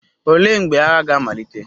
Olee mgbe agha ga-amalite?